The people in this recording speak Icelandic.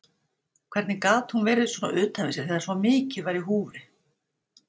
Hvernig gat hún verið svona utan við sig þegar svo mikið var í húfi?